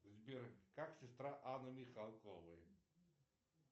сбер как сестра анны михалковой